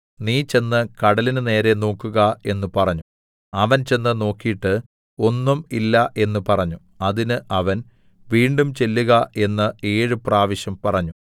നീ ചെന്ന് കടലിന് നേരെ നോക്കുക എന്ന് പറഞ്ഞു അവൻ ചെന്ന് നോക്കീട്ട് ഒന്നും ഇല്ല എന്ന് പറഞ്ഞു അതിന് അവൻ വീണ്ടും ചെല്ലുക എന്ന് ഏഴു പ്രാവശ്യം പറഞ്ഞു